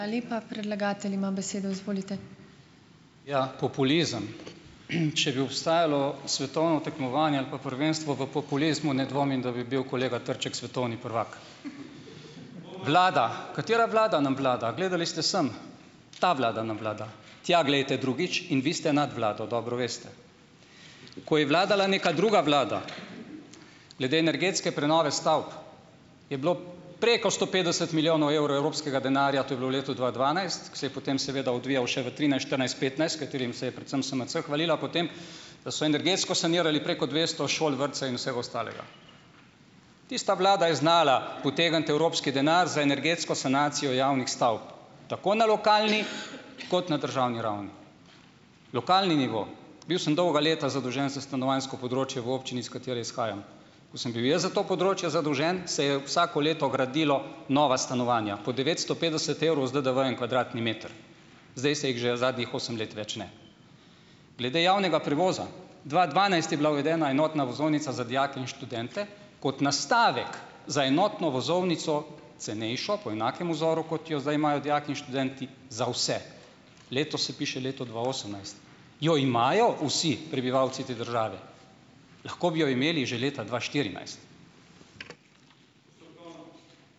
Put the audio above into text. Ja, populizem. Če bi obstajalo svetovno tekmovanje ali pa prvenstvo v populizmu, ne dvomim, da bi bil kolega Trček svetovni prvak. Vlada, katera vlada nam vlada? Gledali ste sem - ta vlada nam vlada, tja glejte drugič, in vi ste nad vlado, dobro veste. Ko je vladala neka druga vlada glede energetske prenove stavb, je bilo preko sto petdeset milijonov evrov evropskega denarja - to je bilo v letu dva dvanajst, ko se je potem seveda odvijal še v trinajst, štirinajst, petnajst, s katerim se je predvsem SMC hvalila, potem, da so energetsko sanirali preko dvesto šol, vrtcev in vsega ostalega. Tista vlada je znala potegniti evropski denar za energetsko sanacijo javnih stavb, tako na lokalni kot na državni ravni. Lokalni nivo, bil sem dolga leta zadolžen za stanovanjsko področje v občini, iz katere izhajam, ko sem bil jaz za to področje zadolžen, se je vsako leto gradilo nova stanovanja, po devetsto petdeset evrov z DDV-jem kvadratni meter. Zdaj se jih že zadnjih osem let več ne. Glede javnega prevoza. Dva dvanajst je bila uvedena enotna vozovnica za dijake in študente kot nastavek za enotno vozovnico, cenejšo, po enakem vzoru kot jo zdaj imajo dijaki in študenti, za vse. Letos se piše leto dva osemnajst - jo imajo vsi prebivalci te države? Lahko bi jo imeli že leta dva štirinajst.